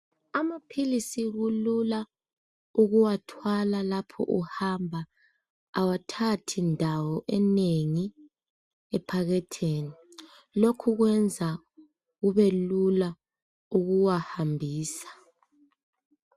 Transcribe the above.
Amaphilisi kulula ukuwathwala lapha uhamba. Awathathi indawo enengi ephaketheni. Lokhu kwenza kubelula ukuwahambisa.